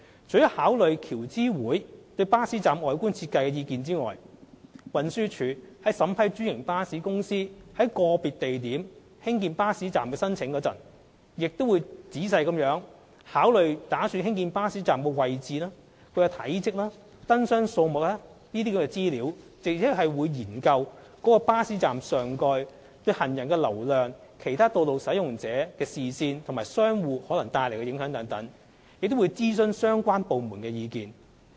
除考慮橋諮會對巴士站外觀設計的意見外，運輸署在審批專營巴士公司在個別地點興建巴士站的申請時，亦會仔細考慮擬建巴士站的位置、體積及燈箱數目等資料，並研究該巴士站上蓋對行人流量、其他道路使用者的視線及商戶可能帶來的影響等，以及徵詢各相關部門的意見。